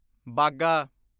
ਬਾਗਾ